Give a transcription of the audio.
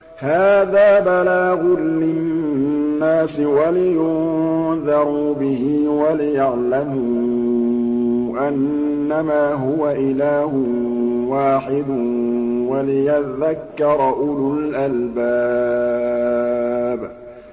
هَٰذَا بَلَاغٌ لِّلنَّاسِ وَلِيُنذَرُوا بِهِ وَلِيَعْلَمُوا أَنَّمَا هُوَ إِلَٰهٌ وَاحِدٌ وَلِيَذَّكَّرَ أُولُو الْأَلْبَابِ